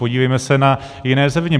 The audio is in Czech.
Podívejme se na jiné země.